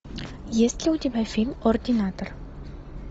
есть ли у тебя фильм ординатор